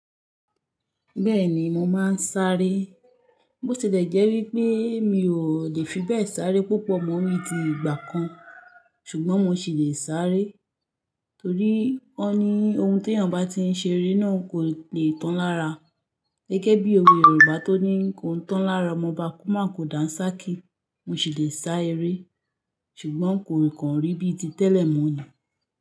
Bẹ́ẹ̀ni mo máa ń sáré. Bó ti lè jẹ́ wípé mi ò lè fi bẹ́ẹ̀ sáré púpọ̀ mọ́ bí ti ìgbà kan, ṣùgbọ́n mo sì lè sáré. Torí won ní ohun tí ènìyàn bá ti ń ṣe ri náà kò lè tán lára. Gẹ́gẹ́ bí òwe Yorùbá tó ní "Kò n tán lára ọmọ obá ko maa kú dán sá kí". Mo sì lè sá eré, ṣùgbọ́n kò kan rí bíi ti tẹ́lẹ̀ mọ́ ni.